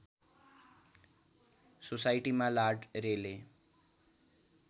सोसाइटीमा लार्ड रेले